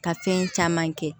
Ka fɛn caman kɛ